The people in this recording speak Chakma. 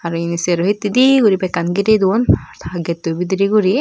are serohittedi guri bekkan girey duon getto bidiredi guri.